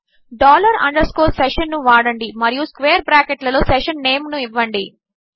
dollar underscore session ను వాడండి మరియు స్క్వేర్ బ్రాకెట్ లలో సెషన్ నేమ్ ను ఇవ్వండి